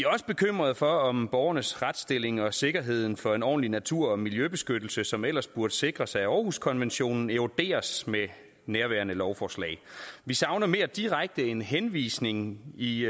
også bekymrede for om borgernes retsstilling og sikkerheden for en ordentlig natur og miljøbeskyttelse som ellers burde sikres af århuskonventionen eroderes med nærværende lovforslag vi savner mere direkte en henvisning i